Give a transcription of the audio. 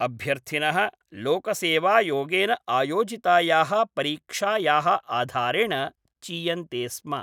अभ्यर्थिनः लोकसेवायोगेन आयोजितायाः परीक्षायाः आधारेण चीयन्ते स्म।